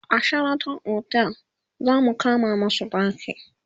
a Sheraton otel zamu kama masu ɗaki